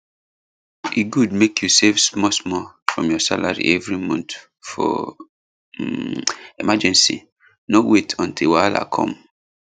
e good mek you save smallsmall from your salary every month for um emergency no wait until wahala come